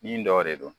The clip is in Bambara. Min dɔ de don